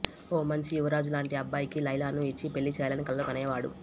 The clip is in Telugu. ఓ మంచి యువరాజు లాంటి అబ్బాయికి లైలాను ఇచ్చి పెళ్లిచేయాలని కలలు కనేవాడు